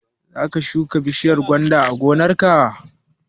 Za ka shuka bishiyar gwanda a gonar ka?